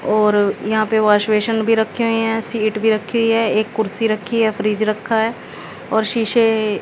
और यहां पे वॉश बेसिन भी रखे हुई हैं सीट भी रखी हुई है एक कुर्सी रखी है फ्रिज रखा है और शीशे--